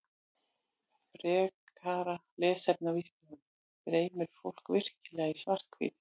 Frekara lesefni á Vísindavefnum Dreymir fólk virkilega í svart-hvítu?